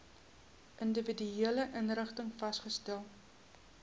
individuele inrigtings vasgestel